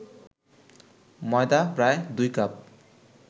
ময়দা প্রায় ২ কাপ